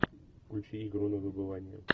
включи игру на выбывание